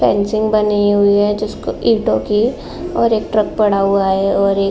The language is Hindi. पंचिंग बनी हुई है जिसके ईंटों की और एक ट्रक पड़ा हुआ है और एक --